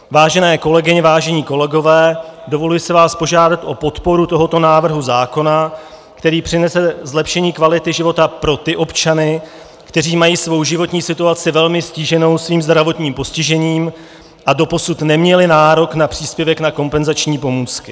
Vážené kolegyně, vážení kolegové, dovoluji si vás požádat o podporu tohoto návrhu zákona, který přinese zlepšení kvality života pro ty občany, kteří mají svou životní situaci velmi ztíženou svým zdravotním postižením a doposud neměli nárok na příspěvek na kompenzační pomůcky.